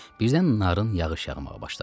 Birdən narın yağış yağmağa başladı.